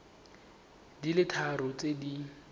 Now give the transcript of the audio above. di le tharo tse di